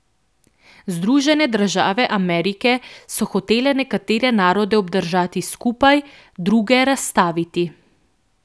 Združene države Amerike so hotele nekatere narode obdržati skupaj, druge razstaviti.